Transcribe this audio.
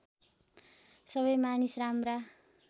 सबै मानिस राम्रा